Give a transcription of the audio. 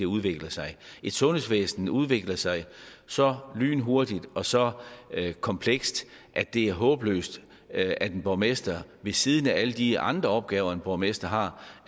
udvikler sig et sundhedsvæsen udvikler sig så lynhurtigt og så komplekst at det er håbløst at at en borgmester ved siden af alle de andre opgaver en borgmester har